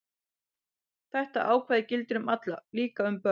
Þetta ákvæði gildir um alla, líka um börn.